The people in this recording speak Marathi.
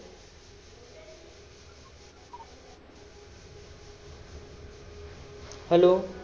hello